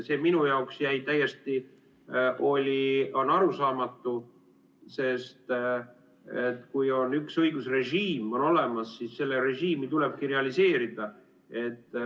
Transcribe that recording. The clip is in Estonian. See minu jaoks jäi täiesti arusaamatuks, sest kui üks õigusrežiim on olemas, siis seda režiimi tulebki realiseerida.